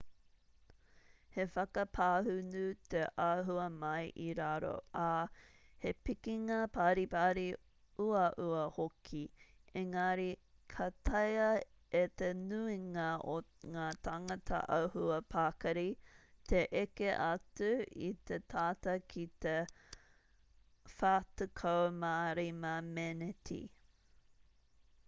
he whakapāhunu te āhua mai i raro ā he pikinga paripari uaua hoki engari ka taea e te nuinga o ngā tāngata āhua pakari te eke atu i te tata ki te 45 meneti